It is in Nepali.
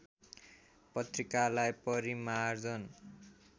पत्रिकालाई परिमार्जन